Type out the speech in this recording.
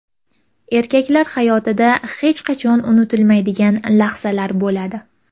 Erkaklar hayotida hech qachon unutilmaydigan lahzalar bo‘ladi.